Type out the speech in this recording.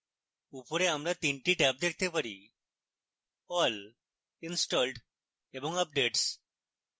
উপরে আমরা 3 the tab দেখতে পারিall installed এবং updates